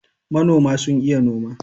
manoma sun iya noma.